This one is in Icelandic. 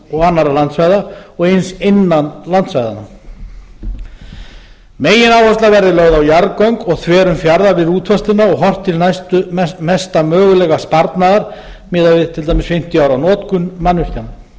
og annarra landsvæða og eins innan landsvæða megináhersla verði lögð á jarðgöng og þverun fjarða við útfærsluna og horft til mesta mögulega sparnaðar miðað við fimmtíu ára notkun mannvirkja reiknaður verði